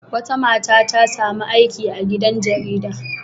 Wata mata ta sami aiki a gidan jarida.